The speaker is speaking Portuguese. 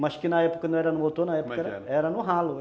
Mas que na época não era no motor, na época, como é que era? era no ralo.